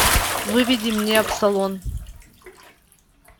выведи мне абсолон